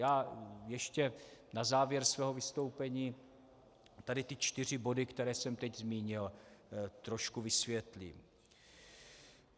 Já ještě na závěr svého vystoupení tady ty čtyři body, které jsem teď zmínil, trošku vysvětlím.